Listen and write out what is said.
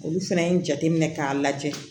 Olu fɛnɛ ye jateminɛ k'a lajɛ